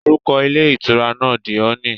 Orúkọ ilé ìtura náà "The Honey".